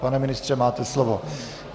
Pane ministře, máte slovo.